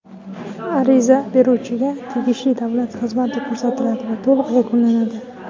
ariza beruvchiga tegishli davlat xizmati ko‘rsatiladi va to‘liq yakunlanadi.